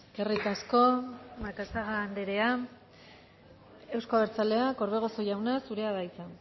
eskerrik asko macazaga anderea euzko abertzaleak orbegozo jauna zurea da hitza